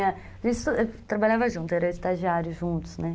trabalhávamos juntos, éramos estagiários juntos, né?